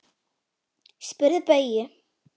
Spyrðu Bauju!